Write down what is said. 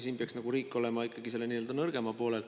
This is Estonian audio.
Siin peaks riik olema ikkagi nii-öelda nõrgema poolel.